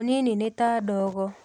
ũnini nĩ ta ndogo.